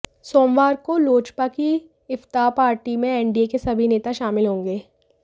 सोमवार को लोजपा की इफ्तार पार्टी में एनडीए के सभी नेता शामिल होंगे